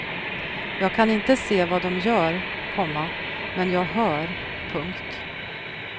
Jag kan inte se vad dom gör, komma men jag hör. punkt